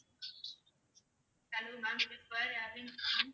hello ma'am இது square airlines தானே